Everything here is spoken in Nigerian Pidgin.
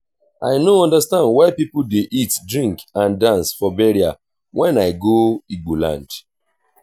i no understand why people dey eatdrink and dance for burial wen i go igbo land